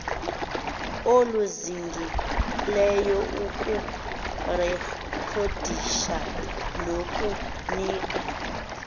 oluzingileyo ukurekhodisha nokunika